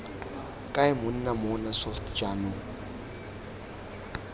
kae monna mmona soft jaanong